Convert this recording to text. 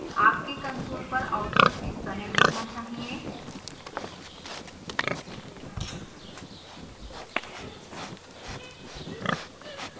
आपके कंसोल पर आउटपुट इस तरह दिखना चाहिए